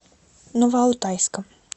новоалтайском